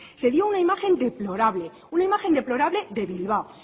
se vio una imagen deplorable una imagen deplorable de bilbao